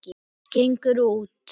Gengur út.